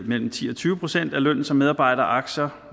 mellem ti og tyve procent af lønnen som medarbejderaktier